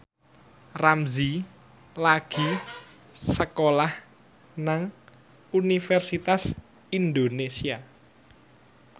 Ramzy lagi sekolah nang Universitas Indonesia